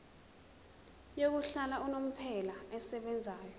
yokuhlala unomphela esebenzayo